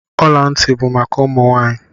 Ọla ntị bụ maka ụmụ nwaanyi.